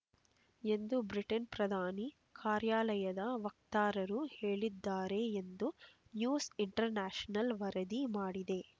ಎಂದು ಬ್ರಿಟನ್ ಪ್ರಧಾನಿ ಕಾರ್ಯಾಲಯದ ವಕ್ತಾರರು ಹೇಳಿದ್ದಾರೆ ಎಂದು ನ್ಯೂಸ್ ಇಂಟರ್ ನ್ಯಾಷನಲ್ ವರದಿ ಮಾಡಿದೆ